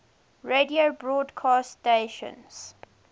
radio broadcast stations